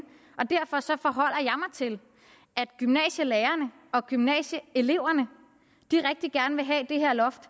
til at gymnasielærerne og gymnasieeleverne rigtig gerne vil have det her loft